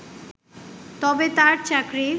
তবে তার চাকরির